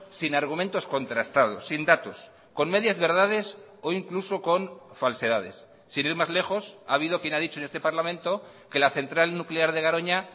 sin argumentos contrastados sin datos con medias verdades o incluso con falsedades sin ir más lejos ha habido quien ha dicho en este parlamento que la central nuclear de garoña